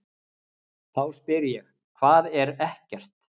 Þá spyr ég: HVAÐ ER EKKERT?